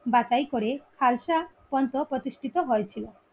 বাছাই করে খালসা কন্ত প্রতিষ্ঠিত হয়েছিল